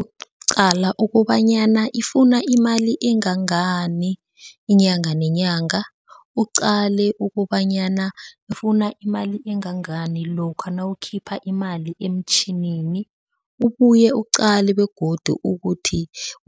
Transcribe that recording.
Uqcala ukobanyana ifuna imali engangani inyanga nenyanga. Uqale ukobanyana ifuna imali engangani lokha nawukhipha imali emtjhinini, ubuye uqale begodu ukuthi